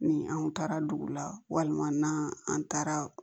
Ni anw taara dugu la walima n'an an taara